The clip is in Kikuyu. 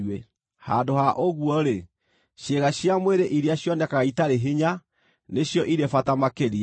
Handũ ha ũguo-rĩ, ciĩga cia mwĩrĩ iria cionekaga itarĩ hinya, nĩcio irĩ bata makĩria,